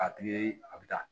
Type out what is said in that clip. A tun ye a bɛ taa